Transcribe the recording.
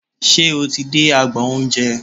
Ṣe o ti dé agbọn oúnjẹ?